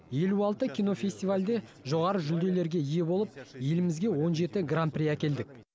елу алты кинофестивальде жоғары жүлделерге ие болып елімізге он жеті гран при әкелдік